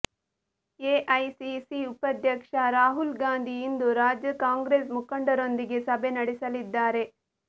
AICC ಉಪಾಧ್ಯಕ್ಷ ರಾಹುಲ್ ಗಾಂಧಿ ಇಂದು ರಾಜ್ಯ ಕಾಂಗ್ರೆಸ್ ಮುಖಂಡರೊಂದಿಗೆ ಸಭೆ ನಡೆಸಲಿದ್ದಾರೆ